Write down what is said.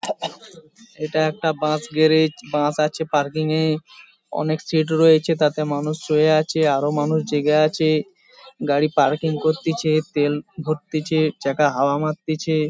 এটা একটা bus garage. Bus আছে পার্কিং এ অনেক সিট্ রয়েছে তাতে মানুষ শুয়ে আছে আর ও মানুষ জেগে আছে। গাড়ি পার্কিং করতিছে তেল ভরতিছে চাকা হাওয়া মারতিছে